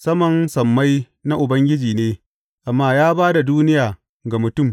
Saman sammai na Ubangiji ne, amma ya ba da duniya ga mutum.